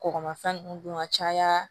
Kɔgɔmafɛn nunnu dun ka caya